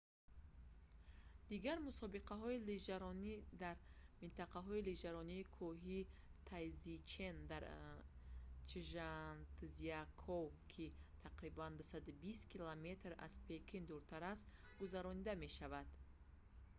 дигар мусобиқаҳои лижаронӣ дар минтақаи лижаронии кӯҳии тайзичэн дар чжантзякоу ки тақрибан 220 км 140 мил аз пекин дуртар аст гузаронида мешаванд